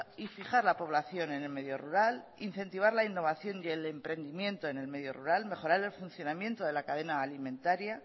y fijar la población en el medio rural incentivar la innovación y el emprendimiento en el medio rural mejorar el funcionamiento de la cadena alimentaría